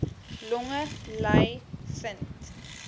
longe ly vind